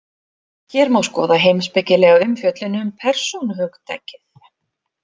Hér má skoða heimspekilega umfjöllun um persónuhugtakið.